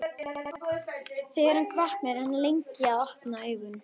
Þegar hann vaknar er hann lengi að opna augun.